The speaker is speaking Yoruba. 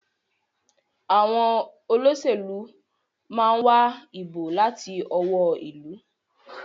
Àwọn Olóṣèlú món wá ìbò láti ọwọ́ ilú.